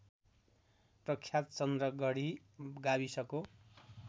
प्रख्यात चन्द्रगढी गाविसको